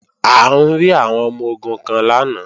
A rí àwọn ọmọ-ogun kan lánàá